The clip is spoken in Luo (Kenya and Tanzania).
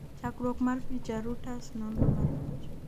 chakruok mar picha, Reuters, nonro mar picha